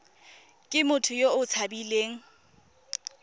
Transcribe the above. ke motho yo o tshabileng